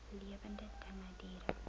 lewende dinge diere